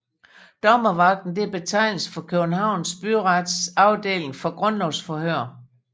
Dommervagten er betegnelsen for Københavns Byrets afdeling for grundlovsforhør